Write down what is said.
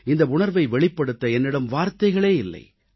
இந்த உணர்வை வெளிப்படுத்த என்னிடம் வார்த்தைகளே இல்லை